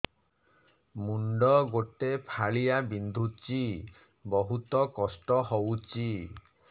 ମୁଣ୍ଡ ଗୋଟେ ଫାଳିଆ ବିନ୍ଧୁଚି ବହୁତ କଷ୍ଟ ହଉଚି